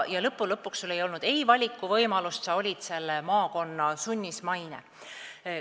Lõppude lõpuks ei olnud sul valikuvõimalust, sa olid selle maakonna sunnismaine.